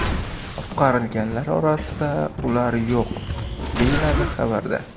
Qutqarilganlar orasida ular yo‘q”, deyiladi xabarda.